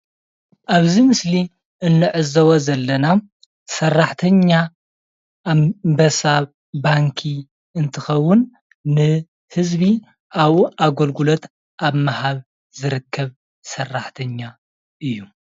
ኣብዚ ምስሊ እንዕዘቦ ዘለና ሰራሕተኛ ኣብ ኣንበሳ ባንኪ እንትከውን ንህዝቢ ኣብኡ ኣገልግሎት ኣብ ምሃብ ዝረከብ ሰራሕተኛ እዩ፡፡